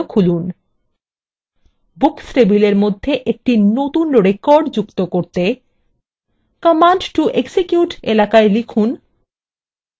books table মধ্যে একটি নতুন record যুক্ত করতে command to execute এলাকায় লিখুন :